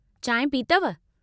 चांहि पीतव?